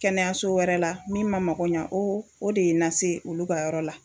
Kɛnɛyaso wɛrɛ la min ma mago ɲa o o de ye n na se olu ka yɔrɔ la